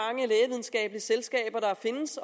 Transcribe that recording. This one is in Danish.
havde selskaber der findes